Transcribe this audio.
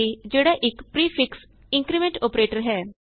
a ਜਿਹੜਾ ਇਕ prefix increment operator ਹੈ